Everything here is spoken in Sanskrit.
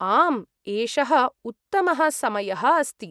आम्, एषः उत्तमः समयः अस्ति।